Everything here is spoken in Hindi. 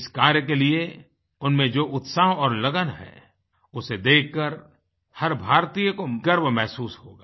इस कार्य के लिए उनमें जो उत्साह और लगन है उसे देख कर हर भारतीय को गर्व महसूस होगा